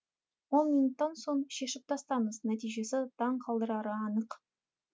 он минуттан соң шешіп тастаңыз нәтижесі таңқалдырары анық